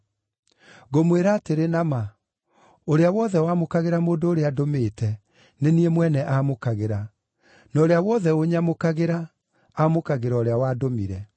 Ngũmwĩra atĩrĩ na ma, ũrĩa wothe wamũkagĩra mũndũ ũrĩa ndũmĩte nĩ niĩ mwene aamũkagĩra; na ũrĩa wothe ũnyamũkagĩra, aamũkagĩra ũrĩa wandũmire.”